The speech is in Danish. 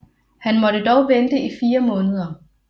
Han måtte dog vente i fire måneder